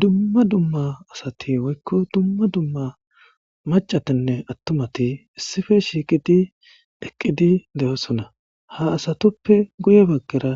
dumma dumma asati woykko dumma dumma macatinne attumati issife shiiqidi deqqidi de7oosona ha asatoppe guye baggera